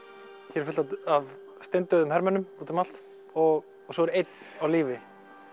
hér er fullt af steindauðum hermönnum út um allt og svo er einn á lífi